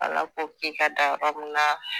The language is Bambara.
Ala ko k'i ka dan yɔrɔ min na